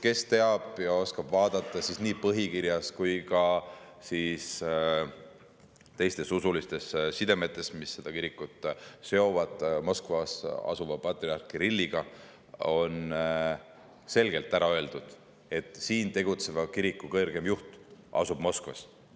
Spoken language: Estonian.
Kes teab ja oskab vaadata, siis näeb, et nii põhikirjas on selgelt öeldud kui ka teiste usuliste sidemete kaudu, mis seda kirikut seovad Moskvas asuva patriarh Kirilliga, öeldakse, et siin tegutseva kiriku kõrgeim juht asub Moskvas.